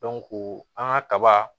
an ka kaba